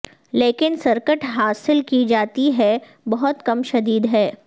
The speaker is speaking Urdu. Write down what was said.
لیکن سرکٹ حاصل کی جاتی ہے بہت کم شدید ہے